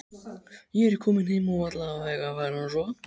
Ég er kominn heim og alveg að fara að sofa.